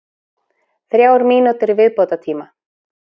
Þrjár mínútur í viðbótartíma.